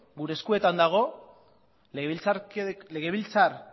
legebiltzar